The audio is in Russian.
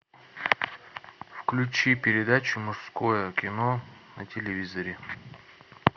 включи передачу мужское кино на телевизоре